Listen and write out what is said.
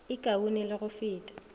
e kaone le go feta